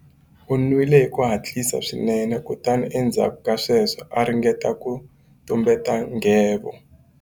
U nwile hi ku hatlisa swinene kutani endzhaku ka sweswo a ringeta ku tumbeta nghevo.